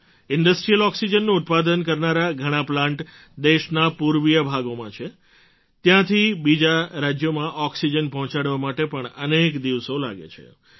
industrial ઑક્સિજનનું ઉત્પાદન કરનારા ઘણા પ્લાન્ટ દેશના પૂર્વીય ભાગોમાં છે ત્યાંથી બીજાં રાજ્યોમાં ઑક્સિજન પહોંચાડવા માટે પણ અનેક દિવસો લાગે છે